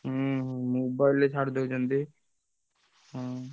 ହୁଁ ହୁଁ mobile ରେ ଛାଡିଦଉଛନ୍ତି ହୁଁ